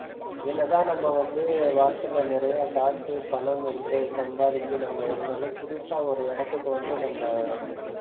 என்னதான் நம்ம வந்து வாழ்க்கையில நிறைய காசு பணம் என்று சம்பாதிச்சு நம்ம இருந்தாலும் புதுசா ஒரு இடத்துக்கு வந்து நம்ம,